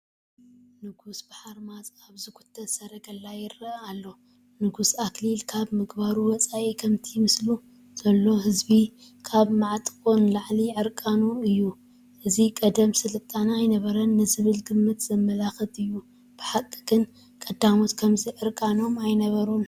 ንጉስ ብሓርማዝ ኣብ ዝጉተት ሰረገላ ይርአ ኣሎ፡፡ ንጉስ ኣክሊል ካብ ምግባሩ ወፃኢ ከምቲ ምስኡ ዘሎ ህዝቢ ካብ መዓንጥዕ ንላዕሊ ዕርቃኑ እዩ፡፡ እዚ ቀደም ስልጣነ ኣይነበረን ንዝብል ግምት ዘመልክት እዩ፡፡ ብሓቒ ግን ቀዳሞት ከምዚ ዕርቃኖም ኣይነበሩን፡፡